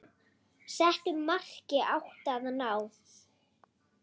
Settu marki átti að ná.